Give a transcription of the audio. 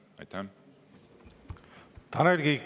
Tanel Kiik, palun!